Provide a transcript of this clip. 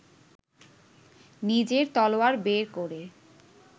নিজের তলোয়ার বের করে